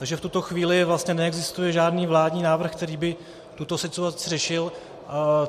Takže v tuto chvíli vlastně neexistuje žádný vládní návrh, který by tuto situaci řešil.